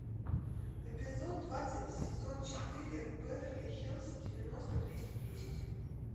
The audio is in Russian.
эпизод двадцать сезон четыре беверли хиллз девяносто двести десять